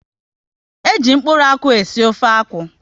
E ji mkpụrụ akwụ e si ofe akwụ